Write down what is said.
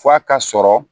F'a ka sɔrɔ